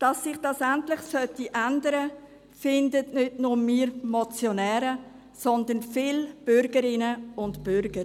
Dass sich das endlich ändern sollte, finden nicht nur die Motionäre, sondern viele Bürgerinnen und Bürger.